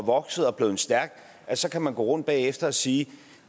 vokset og blevet stærk så kan man gå rundt bagefter og sige at